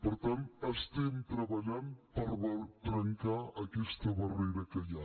per tant estem treballant per trencar aquesta barrera que hi ha